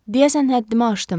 Deyəsən həddimi aşdım.